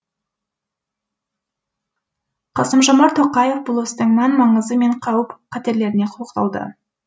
қасым жомарт тоқаев бұл істің мән маңызы мен қауіп қатерлеріне тоқталды